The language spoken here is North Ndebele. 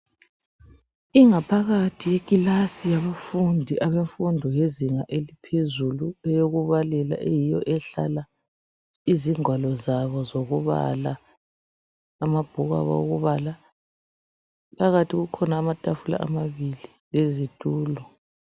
Ingaphakathi yekilasi yabafundi abemfundo yezinga eliphezulu eyokubalela eyiyo ehlala izingwalo zabo zokubala, amabhuku okubala. Phakathi kukhona amatafula amabili lezitulo.